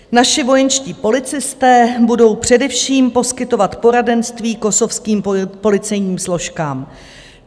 Naši vojenští policisté budou především poskytovat poradenství kosovským policejním složkám.